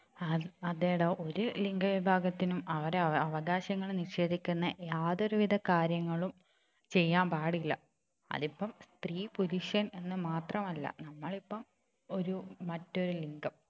ആഹ് അതേടാ ഒരു ലിംഗ വിഭാഗത്തിനും അവരെ അവകാശങ്ങൾ നിഷേധിക്കുന്ന യാതൊരുവിധ കാര്യങ്ങളും ചെയ്യാൻ പാടില്ല അതിപ്പം സ്ത്രീ പുരുഷൻ എന്ന് മാത്രമല്ല നമ്മളിപ്പം ഒരു മറ്റൊരു ലിംഗം